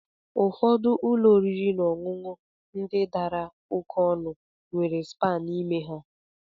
Ụfọdụ ụlọ oriri na ọṅụṅụ ndị dara oké ọnụ nwere spaa n'ime ha.